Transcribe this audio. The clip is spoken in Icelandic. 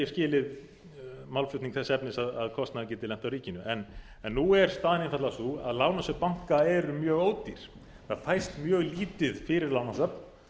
skilið málflutning þess efnis að kostnaðurinn geti lent á ríkinu en nú er staðan einfaldlega sú að lánasöfn banka eru mjög ódýr það fæst mjög lítið fyrir lánasöfn